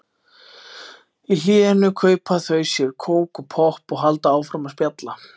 Í hléinu kaupa þau sér kók og popp og halda áfram að spjalla.